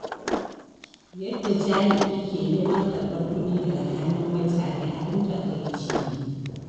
Yadda jami'i ke neman karɓar kuɗi daga hannun mutane abin takaici ne.